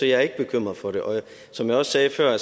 jeg er ikke bekymret for det og som jeg også sagde før